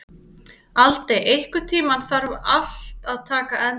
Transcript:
Aldey, einhvern tímann þarf allt að taka enda.